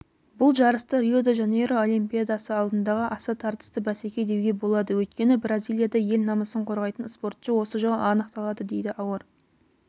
бұл жарысты рио-де-жанейро олимпиадасы алдындағы аса тартысты бәсеке деуге болады өйткені бразилияда ел намысын қорғайтын спортшы осы жолы анықталады дейді ауыр